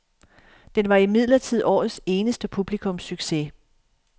Den var imidlertid årets eneste publikumssucces.